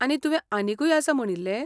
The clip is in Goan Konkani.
आनी तुवें आनीकूय आसा म्हणिल्ले?